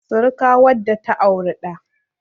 sirika wadda ta auri da